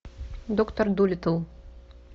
доктор дулиттл